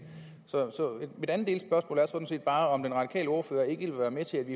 så mit andet delspørgsmål er sådan set bare om den radikale ordfører ikke vil være med til at vi